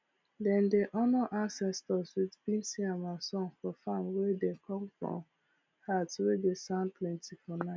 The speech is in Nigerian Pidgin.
dem dey honour ancestors with beans yam and songs for farm wey dey come from heart wey dey sound plenty for